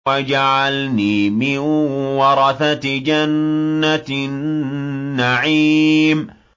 وَاجْعَلْنِي مِن وَرَثَةِ جَنَّةِ النَّعِيمِ